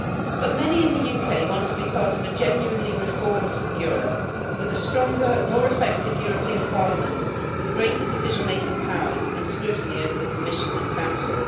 But many in the UK want to be part of a genuinely reformed Europe with a stronger, more effective European Parliament with greater decision making powers and scrutiny over the Commission and Council.